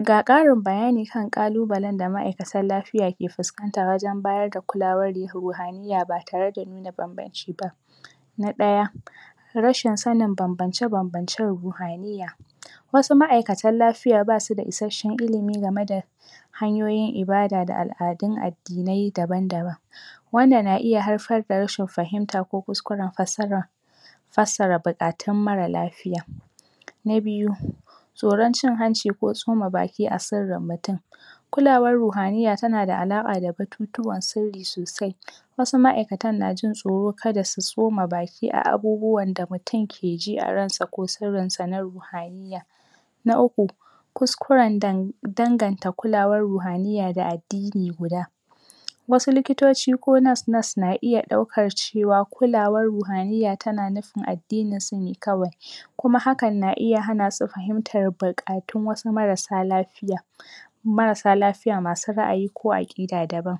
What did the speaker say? Ga ƙarin bayani kan ƙalubalan da ma'aikatan lafiya ke fuskanta wajan bayar da kulawar rihuhaniyya ba tarada nuna banbanci ba, na ɗaya rashin sanin banbance banbancen ruhaniyya wasu ma'aikatan lafiya ba suda isasshen ilimi gama da hanyoyin ibada da al'adun addinai daban daban wannan na iya haifar da rashin fahimta ko kuskuran fassaran fassara buƙatun mara lafiya, na biyu tsoran cin hanci ko tsoma baki a sirrin mutum kulawar ruhaniyya tanada halaƙa da batutuwa sirri sosai wasu ma'aikatan najin tsoro kada su tsoma baki a abubuwan da mutum keji a ransa ko sirrin sa na ruhaniyya, na uku kuskuran em danganta kulawar ruhaniyya da addini guda wasu likitoci ko nurse nurse na iya ɗaukar cewa kulawar ruhaniyya tana nufin addininsu ne kawai kuma hakan na iya hana su fahimtar buƙatun wasu marasa lafiya marasa lafiya masu ra'ayi ko aƙida daban